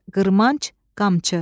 qırmanc, qamçı.